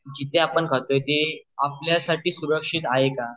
जिथे आपण खातोय ते आपल्यासाठी सुरक्षित हाये का